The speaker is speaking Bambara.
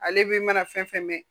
Ale be mana fɛn fɛn mɛn